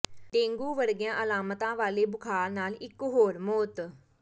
dengue ਵਰਗੀਆਂ ਅਲਾਮਤਾਂ ਵਾਲੇ ਬੁਖ਼ਾਰ ਨਾਲ ਇਕ ਹੋਰ ਮੌਤ